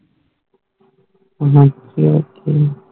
ਵੇਹੰਤੀ ਹੋ ਕੇ